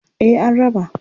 Eh an raba.